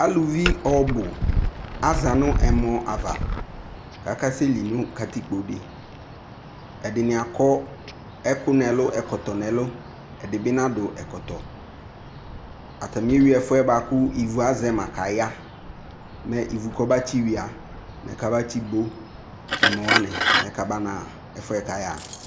aluvi ɔbu aza no ɛmɔ ava k'aka sɛ li no katikpo di ɛdini akɔ ɛkò n'ɛlu ɛkɔtɔ n'ɛlu ɛdi bi nado ɛkɔtɔ atani ewi ɛfu yɛ boa kò ivu azɛ ma k'aya mɛ ivu k'ɔba tsi wia mɛ kaba tsi bo ɛmɔ wani mɛ kaba na ɣa ɛfu yɛ k'aya ɣa